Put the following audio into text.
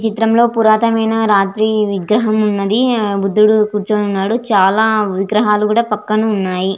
ఈ చిత్రం లో పురత్య మాన్య రాజ్యా విగ్రహం ఉన్నది బుడుదు కూర్చొని ఉన్నాడు చాల విగ్రహాలు కూడా పక్కన ఉన్నాయ్.